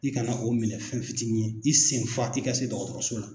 I kana o minɛ fɛn fitinin ye, i sen fa i ka se dɔgɔtɔrɔso la.